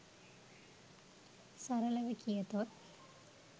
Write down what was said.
සරලව කියතොත්